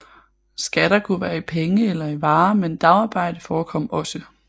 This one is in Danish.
Skatter kunne være i penge eller i varer men dagarbejde forekom også